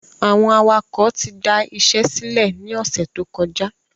Àwọn awakọ̀ ti da isẹ́ sílẹ̀ ni ọ̀sẹ̀ tó kọjá